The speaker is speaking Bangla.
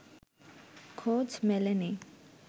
খোঁজ মেলেনি